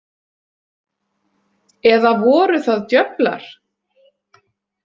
Eða voru það djöflar?